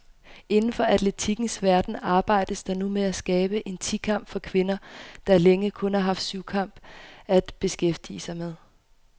Inden for atletikkens verden arbejdes der nu med at skabe en ti kamp for kvinder, der længe kun har haft syvkamp at beskæftige med.